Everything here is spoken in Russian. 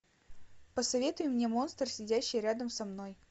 посоветуй мне монстр сидящий рядом со мной